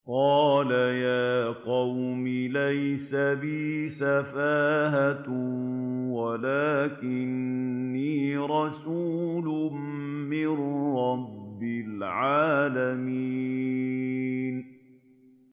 قَالَ يَا قَوْمِ لَيْسَ بِي سَفَاهَةٌ وَلَٰكِنِّي رَسُولٌ مِّن رَّبِّ الْعَالَمِينَ